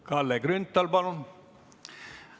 Kalle Grünthal, palun!